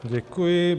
Děkuji.